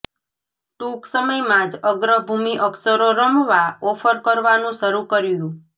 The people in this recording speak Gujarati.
ટૂંક સમયમાં જ અગ્રભૂમિ અક્ષરો રમવા ઓફર કરવાનું શરૂ કર્યું